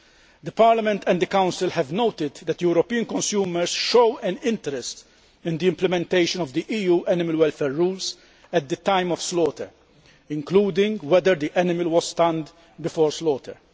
The Parliament and the Council have noted that European consumers show an interest in the implementation of the EU animal welfare rules at the time of slaughter, including whether the animal was stunned before slaughter.